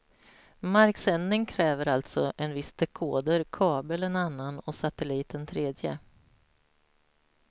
Marksändning kräver alltså en viss dekoder, kabel en annan och satellit en tredje.